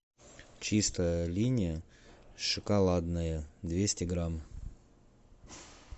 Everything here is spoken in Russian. чистая линия шоколадная двести грамм